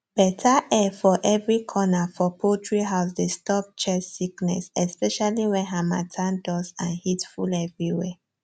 better air for every corner for poultry house dey stop chest sickness especially when harmattan dust and heat full everywhere